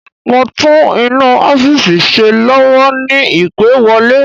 Mo ń tún inú ọ́fìsì ṣe lọ́wọ́ ni ìpè wọlé